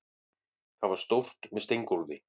Það er stórt, með steingólfi.